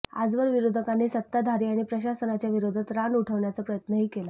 आजवर विरोधकांनी सत्ताधारी अणि प्रशासनाच्या विरोधात रान उठवण्याचा प्रयत्नही केला